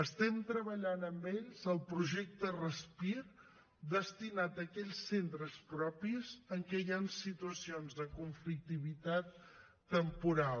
estem treballant amb ells el projecte respir destinat a aquells centres propis en què hi han situacions de conflictivitat temporal